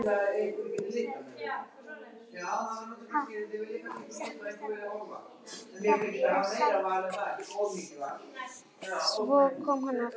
Svo kom hann aftur.